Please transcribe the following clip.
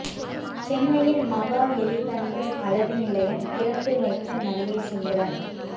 சென்னையில் மகா எலிகண்டஸ் அழகு நிலையம் திறந்து வைத்த நடிகை சிம்ரன்